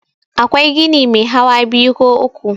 akwai gini Mai hawa biyu ko uku